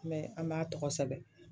Mɛ an b'a tɔgɔ sɛbɛn